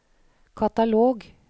katalog